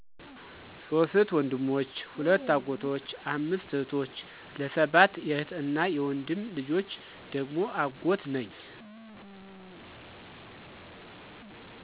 "ሶስት ወንድሞች ሁለት አጎቶች አምስት እህቶች ለ ሰባት የእህት እና የወንድም ልጆች ደግሞ አጎት ነኝ"።